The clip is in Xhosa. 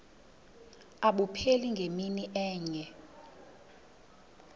abupheli ngemini enye